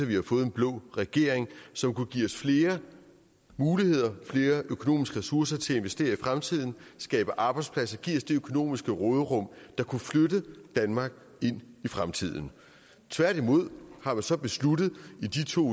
vi har fået en blå regering som kunne give os flere muligheder flere økonomiske ressourcer til at investere i fremtiden skabe arbejdspladser og give os det økonomiske råderum der kunne flytte danmark ind i fremtiden tværtimod har man så besluttet i de to